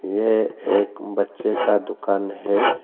ये एक बच्चे का दुकान है।